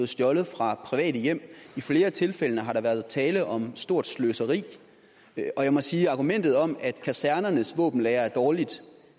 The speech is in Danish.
stjålet fra private hjem i flere af tilfældene har der været tale om stort sløseri og jeg må sige at argumentet om at kasernernes våbenlagre er dårligt